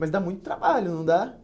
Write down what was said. Mas dá muito trabalho, não dá?